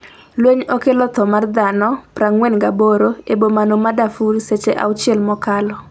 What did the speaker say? lweny okelo tho mar dhano 48 e bomano ma Darfur seche auchiel mokalo